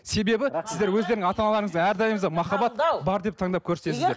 себебі сіздер өздерің ата аналарыңызда әрдайым да махаббат бар деп таңдап көрсетесіздер